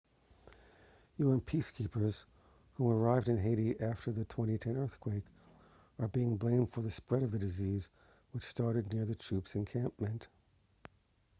un peacekeepers whom arrived in haiti after the 2010 earthquake are being blamed for the spread of the disease which started near the troop's encampment